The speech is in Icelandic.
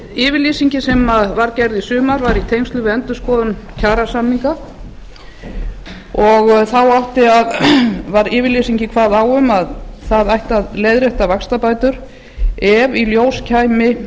yfirlýsingin sem var gerð í sumar var í tengslum við endurskoðun kjarasamninga og þá kvað yfirlýsingin á um að það ætti að leiðrétta vaxtabætur ef í ljós kæmi